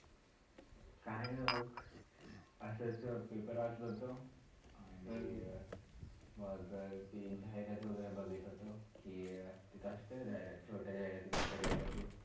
काही नाही बघ, असाच paper वाचात होतो आणि मग ती जाहिरात वैगरे बघत होतो आणि ती एक असताना छोटा जाहिरातील मोठा जाहिरातील.